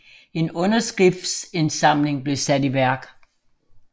En underskriftindsamling blev sat i værk